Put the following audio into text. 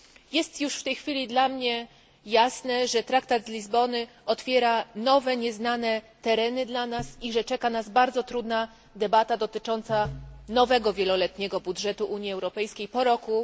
Jest już w tej chwili dla mnie jasne, że traktat z Lizbony otwiera nowe nieznane tereny dla nas i że czeka nas bardzo trudna debata dotycząca nowego wieloletniego budżetu Unii Europejskiej po roku